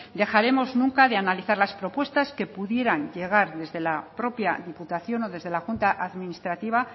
dejaremos nunca de analizar las propuestas que pudieran llegar desde la propia diputación o desde la junta administrativa